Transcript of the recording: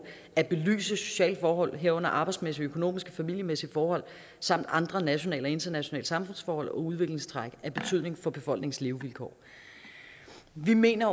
at belyse sociale forhold herunder arbejdsmæssige økonomiske og familiemæssige forhold samt andre nationale og internationale samfundsforhold og udviklingstræk af betydning for befolkningens levevilkår vi mener